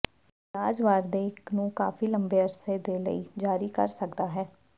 ਇਲਾਜ ਵਾਰ ਦੇ ਇੱਕ ਨੂੰ ਕਾਫੀ ਲੰਬੇ ਅਰਸੇ ਦੇ ਲਈ ਜਾਰੀ ਕਰ ਸਕਦਾ ਹੈ